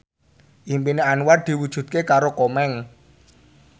impine Anwar diwujudke karo Komeng